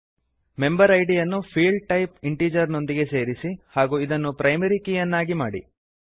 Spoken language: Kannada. ಮೆಂಬರ್ ಇದ್ ಯನ್ನು ಫೀಲ್ಡ್ ಟೈಪ್ ಇಂಟಿಜರ್ ನೊಂದಿಗೆ ಸೇರಿಸಿ ಹಾಗೂ ಇದನ್ನು ಪ್ರೈಮರಿ ಕೀ ಅನ್ನಾಗಿ ಮಾಡಿ